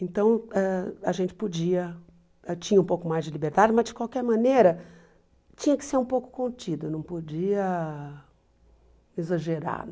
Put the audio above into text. Então, ãh a gente podia, tinha um pouco mais de liberdade, mas, de qualquer maneira, tinha que ser um pouco contido, não podia exagerar.